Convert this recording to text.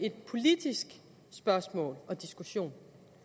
et politisk spørgsmål og diskussion